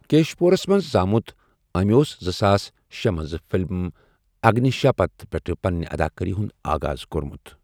Cash پوٗرَس منٛز زامُت، أمۍ اوس زٕساس شے منٛز فلم اگنیشاپتھ پٮ۪ٹھٕ پنِنہِ اداکٲری ہُنٛد آغاز کوٚرمُت۔